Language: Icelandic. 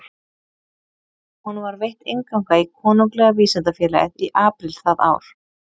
Honum var veitt innganga í Konunglega vísindafélagið í apríl það ár.